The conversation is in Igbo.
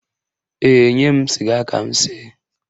Ee, nye m sịga ka m see.